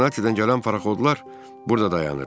Sinsinatidən gələn parxodlar burada dayanır.